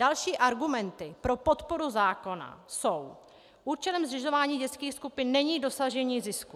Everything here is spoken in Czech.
Další argumenty pro podporu zákona jsou: Účelem zřizování dětských skupin není dosažení zisku.